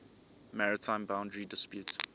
maritime boundary dispute